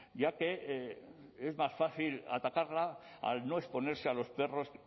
ya que es más fácil atacarla al no exponerse a los perros